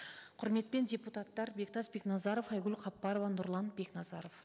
құрметпен депутаттар бектас бекназаров айгүл хаппарова нұрлан бекназаров